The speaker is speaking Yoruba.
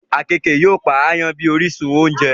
Àkekèé yóò Pa àyàn bí orísun ounjẹ